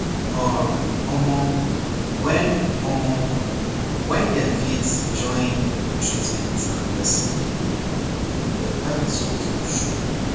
um omor when omor when dem fit join treatment and person belief better result go show